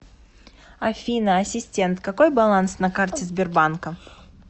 афина ассистент какой баланс на карте сбербанка